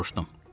Soruşdum.